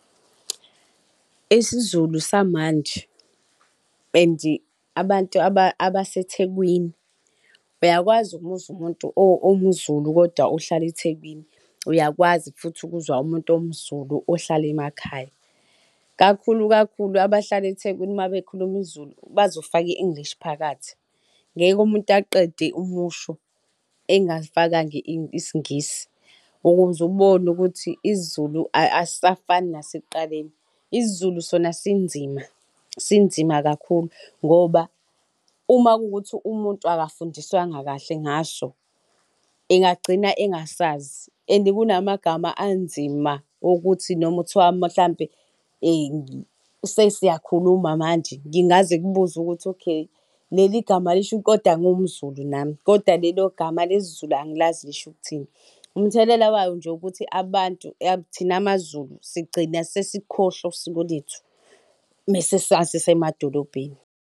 IsiZulu samanje and abantu abaseThekwini uyakwazi ukumuzwa umuntu owumZulu kodwa ohlala eThekwini, uyakwazi futhi ukuzwa umuntu owumZukulu ohlala emakhaya. Kakhulu kakhulu abahlala eThekwini uma bekhuluma isiZulu bazofaka i-English phakathi. Ngeke umuntu aqede umusho engafakanga isiNgisi, ukuze ubone ukuthi isiZulu asisafani nasekuqaleni. IsiZulu sona sinzima, sinzima kakhulu ngoba uma kuwukuthi umuntu akafundiswanga kahle ngaso, engagcina engasazi. And kunamagama anzima ukuthi noma kuthiwa mhlampe sesiyakhuluma manje, ngingaze kubuzwe ukuthi, okay, leli gama lishu kodwa ngingumZulu nami, kodwa lelo gama lesiZulu angilazi lisho ukuthini. Umthelela wayo nje ukuthi abantu thina maZulu sigcina sesikhohlwa usiko lethu uma sisemadolobheni.